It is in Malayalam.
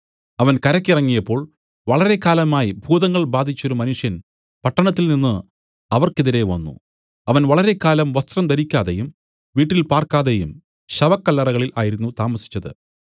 അവൻ കരയ്ക്ക് ഇറങ്ങിയപ്പോൾ വളരെ കാലമായി ഭൂതങ്ങൾ ബാധിച്ചൊരു മനുഷ്യൻ പട്ടണത്തിൽനിന്നു അവർക്ക് എതിരെ വന്നു അവൻ വളരെക്കാലമായി വസ്ത്രം ധരിക്കാതെയും വീട്ടിൽ പാർക്കാതെയും ശവക്കല്ലറകളിൽ ആയിരുന്നു താമസിച്ചത്